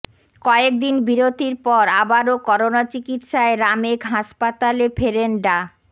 কয়েকদিন বিরতির পর আবারও করোনা চিকিৎসায় রামেক হাসপাতলে ফেরেন ডা